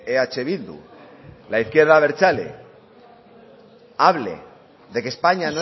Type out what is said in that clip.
eh bildu la izquierda abertzale hable de que españa